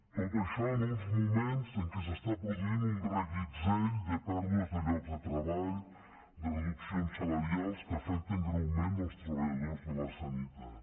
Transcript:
tot això en uns moments en què s’està produint un reguitzell de pèrdues de llocs de treball de reduccions salarials que afecten greument els treballadors de la sanitat